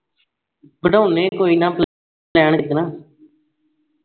ਬਨਾਉਣੇ ਆਂ ਕੋਈ ਨਾ plan ਇਕ ਦਿਨ